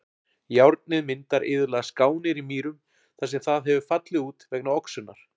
Járnið myndar iðulega skánir í mýrum þar sem það hefur fallið út vegna oxunar.